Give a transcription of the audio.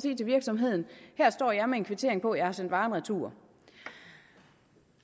sige til virksomheden her står jeg med en kvittering på at jeg har sendt varen retur